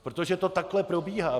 Protože to takhle probíhá.